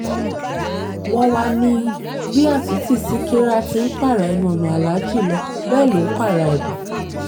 wọ́n wàá ní bí àtúntí ṣíkírà tí ń pààrà ẹnu ọ̀nà aláàjì lọ bẹ́ẹ̀ ló ń pààrà ẹ̀ bọ́